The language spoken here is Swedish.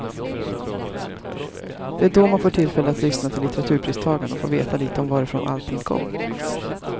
Det är då man får tillfälle att lyssna till litteraturpristagaren och får veta lite om varifrån allting kom.